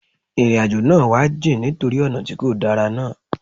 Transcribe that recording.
Ìrìn àjò náà wá jìn nítorí ọ̀nà tí kò dára náà.